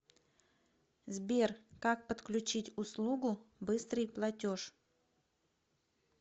сбер как подключить услугу быстрый платеж